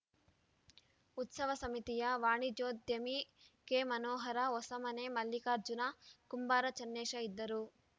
ಉತ್ಸವ ಸಮಿತಿಯ ವಾಣಿಜ್ಯೋದ್ಯಮಿ ಕೆಮನೋಹರ ಹೊಸಮನೆ ಮಲ್ಲಿಕಾರ್ಜುನ ಕುಂಬಾರ ಚನ್ನೇಶ ಇದ್ದರು